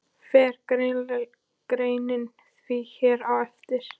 Fer greinin því hér á eftir.